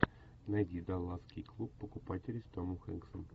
найди далласский клуб покупателей с томом хэнксом